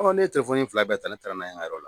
ne ye in fila bɛɛ ta ne taara n'a ye n ka yɔrɔ la.